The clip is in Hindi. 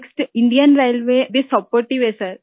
नेक्स्ट इंडियन रेलवे भी सपोर्टिव है सर